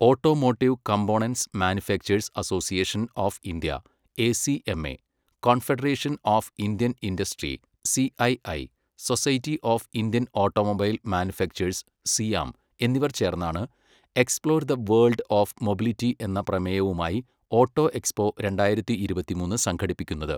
Automotive components manufacturers association of India ACMA, confederation of Indian industry CII, society of Indian automobile manufacturers SIAM എന്നിവർ ചേർന്നാണ് explore the world of mobility എന്ന പ്രമേയവുമായി auto expo രണ്ടായിരത്തി ഇരുപത്തിമൂന്ന് സംഘടിപ്പിക്കുന്നത്.